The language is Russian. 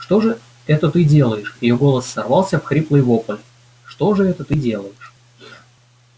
что же это ты делаешь её голос сорвался в хриплый вопль что же это ты делаешь